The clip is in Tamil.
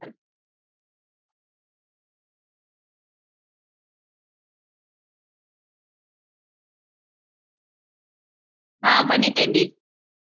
ஆஹ் பண்ணிட்டேன்டி